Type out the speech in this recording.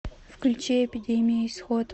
включи эпидемия исход